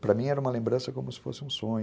Para mim, era uma lembrança como se fosse um sonho.